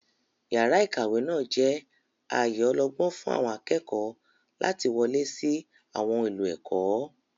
Yàrá ìkàwé náà jẹ́ ààyè ọlọ́gbọ́n fún àwọn akẹ́kọ̀ọ́ láti wọlé sí àwọn ohun èlò ẹ̀kọ́.